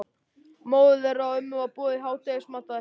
Móður þeirra og ömmu var boðið í hádegismatinn á eftir.